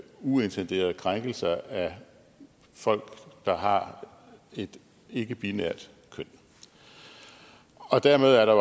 uintenderede krænkelser af folk der har et ikkebinært køn og dermed er der